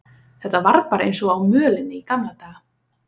Þetta var bara eins og á mölinni í gamla daga.